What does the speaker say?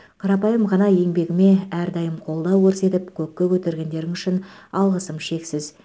қарапайым ғана еңбегіме әрдайым қолдау көрсетіп көкке көтергендерің үшін алғысым шексіз